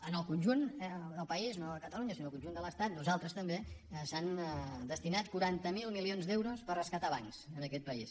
en el conjunt del país no de catalunya sinó del conjunt de l’estat nosaltres també s’han destinat quaranta miler milions d’euros per rescatar bancs en aquest país